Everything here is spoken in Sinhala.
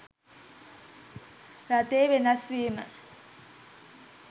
රටේ වෙනස් වීම